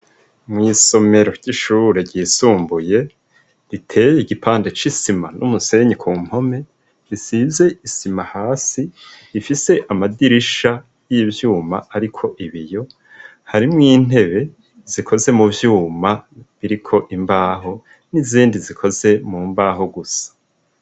Mw'isomero ry'ishurure ryisumbuye, riteye igipande c'isima, n'umusenyi ,ku mpome risize isima ,hasi ifise amadirisha y'ivyuma ariko ibiyo, harimwo intebe zikoze mu vyuma ,biriko imbaho, n'izindi zikoze mu mbaho gusa.